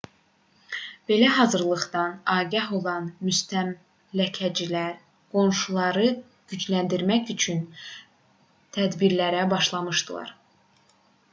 belə hazırlıqdan agah olan müstəmləkəçilər qoşunları gücləndirmək üçün tədbirlərə başladılar